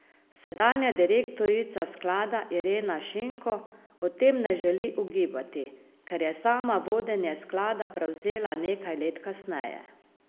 Sedanja direktorica sklada Irena Šinko o tem ne želi ugibati, ker je sama vodenje sklada prevzela nekaj let kasneje.